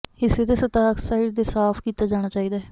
ਹਿੱਸੇ ਦੇ ਸਤਹ ਆਕਸਾਈਡ ਦੇ ਸਾਫ਼ ਕੀਤਾ ਜਾਣਾ ਚਾਹੀਦਾ ਹੈ